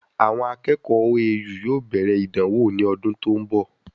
Àwọn akẹ́kọ̀ọ́ OAU yóò bẹ̀rẹ̀ ìdánwò ní ọdún tí òún bo